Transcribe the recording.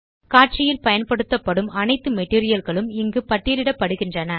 காட்சியில் பயன்படுத்தப்படும் அனைத்து மெட்டீரியல் களும் இங்கு பட்டியலிடப்படுகிறது